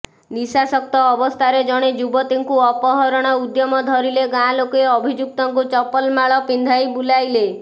ନିଶାସକ୍ତ ଅବସ୍ଥାରେ ଜଣେ ଯୁବତୀଙ୍କୁ ଅପହରଣ ଉଦ୍ୟମ ଧରିଲେ ଗାଁ ଲୋକେ ଅଭିଯୁକ୍ତଙ୍କୁ ଚପଲମାଳ ପିନ୍ଧାଇ ବୁଲାଇଲେ